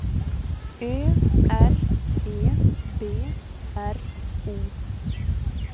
Ö R E B R O